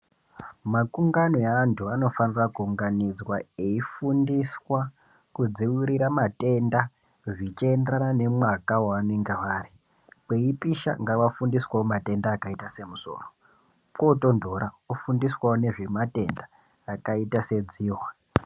Makungano eantu anofanira kuunganidzwa veifundiswa kudzivirira matenda zvindienderana nemwaka waanenge ari kwipisha ngavafundiswewo matenda akaita semusoro kotonhora vofundiswawo nezvematenda akaita sedzihwa.